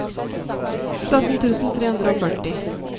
sytten tusen tre hundre og førti